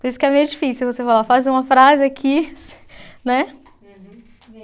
Por isso que é meio difícil você falar, faz uma frase aqui, né?